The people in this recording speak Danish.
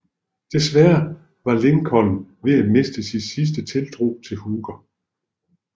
Desværre var Lincoln ved at miste sin sidste tiltro til Hooker